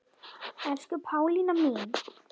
Elsku Pálína mín.